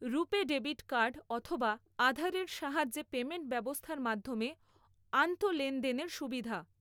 রুপে debit card অথবা আধারের সাহায্যে পেমেন্ট ব্যবস্থার মাধ্যমে আন্তঃলেনদেনের সুবিধা।